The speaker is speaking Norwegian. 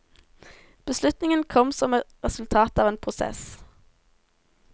Beslutningen kom som resultatet av en prosess.